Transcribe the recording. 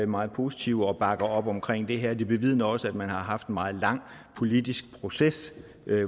meget positive og bakker op omkring det her det bevidner også at man har haft en meget lang politisk proces